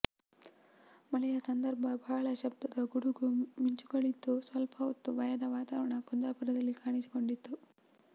ಮಳೆಯ ಸಂದರ್ಭ ಬಹಳ ಶಬ್ದದ ಗುಡುಗು ಮಿಂಚುಗಳಿದ್ದು ಸ್ವಲ್ಪ ಹೊತ್ತು ಭಯದ ವಾತವರಣ ಕುಂದಾಪುರದಲ್ಲಿ ಕಾಣಿಸಿಕೊಂಡಿತು